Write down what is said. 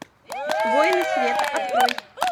воины света открой